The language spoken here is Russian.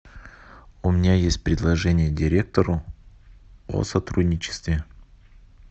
у меня есть предложение директору о сотрудничестве